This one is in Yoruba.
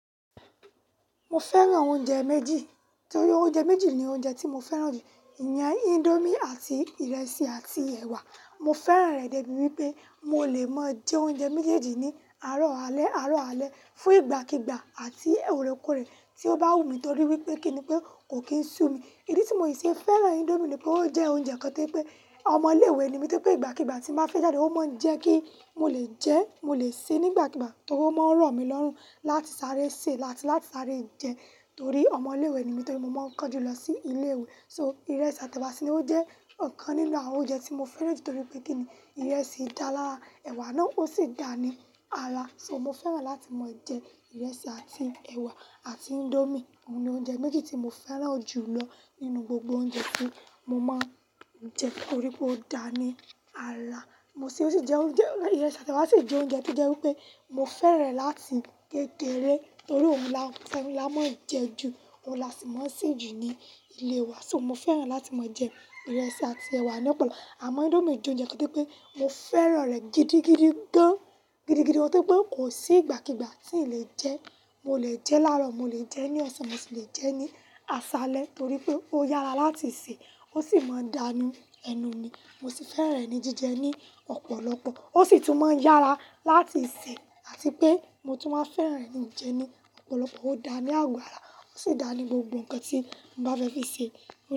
Mo fẹ́ràn oúnjẹ méjì torí oúnjẹ méjì ni oúnjẹ tí mo fẹ́ràn jù. Ìyẹn índómì àti ìrẹsì àti ẹ̀wà. Mo fẹ́ràn rẹ̀ débi wípé mo lè máa jẹ oúnjẹ méjèèjì ní àárọ̀ alẹ́, àárọ̀ alẹ́, fún ìgbàkígbà àti orèkorẹ̀ tí ó bá wù mí torí wípé kíni pé kò kí ń sú mi. Idi tí mo ì ṣe fẹ́ràn índómì ni pé ó jẹ́ oúnjẹ kan tí pé ọmọ ilé ìwé ni mí tí pé ìgbàkígbà tí màá fi jáde, ó máa ń jẹ́ kí mo lè jẹ, mo lè sè nígbàkígbà torí ó máa ń ràn mí lọ́rùn láti sáré sè láti láti sáré jẹ torí ọmọ ilé ìwé ni mí torí mo máa ń kánjú lọ sí ilé ìwé. So ìrẹsì àti ẹ̀wà sì ni ó jẹ́ ọ̀kan nínú àwọn oúnjẹ tí mo fẹ́ràn jù torí pé kíni ìrẹsì dà lára, ẹ̀wà náà ó sì dà ní ara. So, mo fẹ́ràn láti máa jẹ ìrẹsì àti ẹ̀wà àti índómì. Ó ni oúnjẹ méjì tí mo fẹ́ràn jù lọ nínú gbogbo oúnjẹ tí mo máa ń jẹ torí pé ó dà ní ara. Mo sì ó sì jẹ oúnjẹ, ìrẹsì àti ẹ̀wà sì jẹ oúnjẹ tí jẹ́ wípé mo fẹ́ràn láti kékeré torí òun la, òun la máa ń jẹ ju, òun la sì máa ń sè ju ní ilé wa. So, mo fẹ́ràn láti máa jẹ ìrẹsì àti ẹ̀wà ní ọ̀pọ̀lọpọ̀. Àma índómì je ounjẹ kan toi pé mo fẹ́ràn rẹ̀ gidigidi gan-gidigidi mó tí pé kò sí ìgbàkígbà tí n lè jẹ. Mo lè jẹ́ láàárọ̀, mo lè jẹ́ ní ọ̀sán, mo sì lè jẹ́ ní aṣálẹ́ torí pé ó yára láti sè, ó sì máa ń dánú ẹnu mi. Mo sì fẹ́ràn ní jíjẹ ní ọ̀pọ̀lọpọ̀. Ó sì tún máa ń yára láti sè àti pé mo tún máa ń fẹ́ràn ní jẹ ní ọ̀pọ̀lọpọ̀. Ó dà ní àgo ara, ó sì dà ní gbogbo nǹkan tí n bá fẹ́ fi sè.